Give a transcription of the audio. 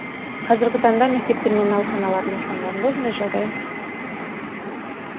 қазіргі таңда мектептер мен ауруханалардың асханаларында осындай жағдай